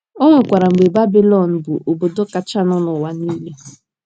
O nwekwara mgbe Babịlọn bụ obodo kachanụ n’ụwa niile.